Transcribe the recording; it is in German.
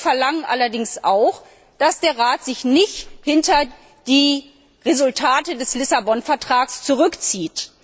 Wir verlangen allerdings auch, dass der Rat sich nicht hinter die Resultate des Lissabon Vertrags zurückzieht.